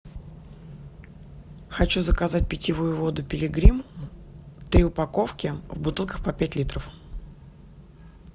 хочу заказать питьевую воду пилигрим три упаковки в бутылках по пять литров